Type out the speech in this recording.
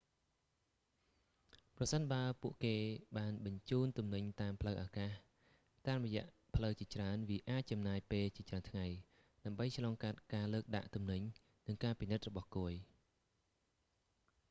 ប្រសិនបើពួកគេបានបញ្ជូនទំនិញតាមផ្លូវអាកាស តាមរយៈផ្លូវជាច្រើន វាអាចចំណាយពេលជាច្រើនថ្ងៃ ដើម្បីឆ្លងកាត់ការលើកដាក់ទំនិញ និងការពិនិត្យរបស់គយ